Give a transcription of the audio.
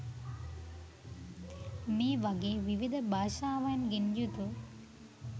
මේ වගේ විවිධ භාෂාවන්ගෙන් යුතු